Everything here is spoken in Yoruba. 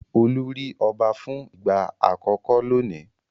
Olú rí ọba fún ìgbà àkọ́kọ́ lónìí.